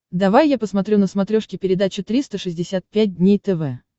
давай я посмотрю на смотрешке передачу триста шестьдесят пять дней тв